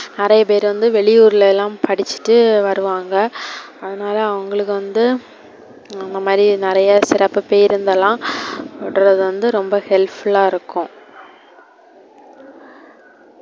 நெறைய பேரு வந்து வெளியூர்லலாம் படிச்சிட்டு வருவாங்க, அதுனால அவங்களுக்கு வந்து அவங்க மாரி நெறைய சிறப்பு பேருந்துலாம் விடுறது வந்து helpful ஆ இருக்கு.